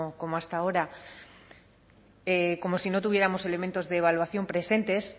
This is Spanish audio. como hasta ahora como si no tuviéramos elementos de evaluación presentes